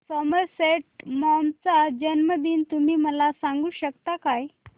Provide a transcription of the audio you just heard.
Somerset Maugham चा जन्मदिन तुम्ही मला सांगू शकता काय